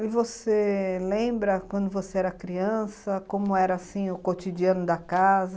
E você lembra quando você era criança, como era assim o cotidiano da casa?